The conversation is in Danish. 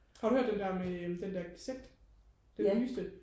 har du hørt den der med øh den der z den nyeste